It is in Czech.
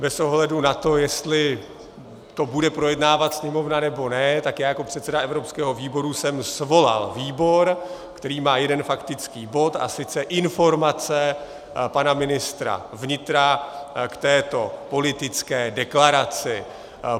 Bez ohledu na to, jestli to bude projednávat Sněmovna, nebo ne, tak já jako předseda evropského výboru jsem svolal výbor, který má jeden faktický bod, a sice informace pana ministra vnitra k této politické deklaraci.